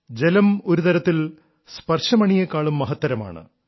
ജലം ഒരുതരത്തിൽ സ്പർശമണിയേക്കാളും മഹത്തരമാണ്